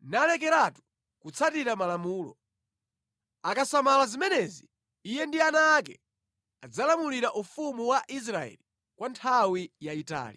nalekeratu kutsatira malamulo. Akasamala zimenezi iye ndi ana ake adzalamulira ufumu wa Israeli kwa nthawi yayitali.